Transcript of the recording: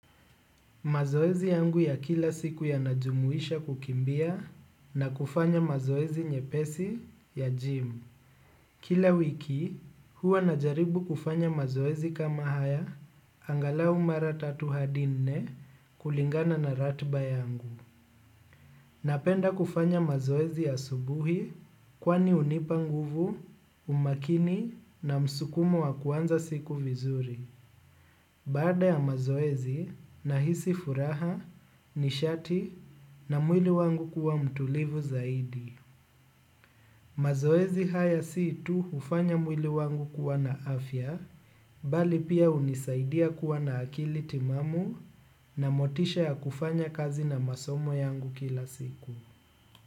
Mazoezi yangu ya kila siku yanajumuisha kukimbia na kufanya mazoezi nyepesi ya gym. Kila wiki, huwa najaribu kufanya mazoezi kama haya, angalau mara tatu hadi nne, kulingana na ratiba yangu. Napenda kufanya mazoezi asubuhi kwani hunipa nguvu, umakini na msukumo wa kuanza siku vizuri. Baada ya mazoezi, nahisi furaha, nishati na mwili wangu kuwa mtulivu zaidi mazoezi haya si tu hufanya mwili wangu kuwa na afya, bali pia hunisaidia kuwa na akili timamu na motisha ya kufanya kazi na masomo yangu kila siku.